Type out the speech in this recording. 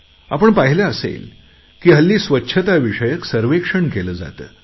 आपण पाहिले असेल की हल्ली स्वच्छता विषयक सर्वेक्षण केले जाते